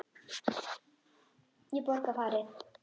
. ég borga farið.